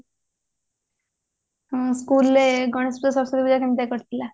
ହଁ school ରେ ଗଣେଶ ପୂଜା ସରସ୍ଵତୀ ପୂଜା କେମିତିଆ କଟିଥିଲା